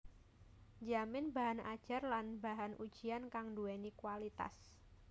njamin bahan ajar lan bahan ujian kang nduwèni kualitas